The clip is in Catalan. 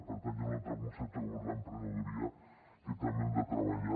per tant hi ha un altre concepte com és l’emprenedoria que també hem de treballar